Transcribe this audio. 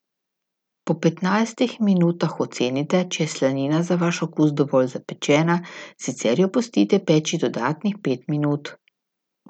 Po petnajstih minutah ocenite, če je slanina za vaš okus dovolj zapečena, sicer jo pustite peči dodatnih pet minut.